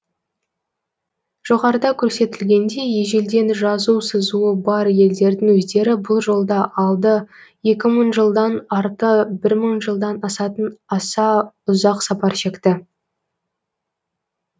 жоғарыда көрсетілгендей ежелден жазу сызуы бар елдердің өздері бұл жолда алды екі мың жылдан арты бір мың жылдан асатын аса ұзақ сапар шекті